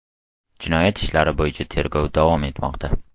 Jinoyat ishlari bo‘yicha tergov davom etmoqda.